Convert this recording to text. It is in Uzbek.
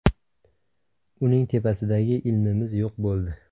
Uning tepasidagi ilmimiz yo‘q bo‘ldi.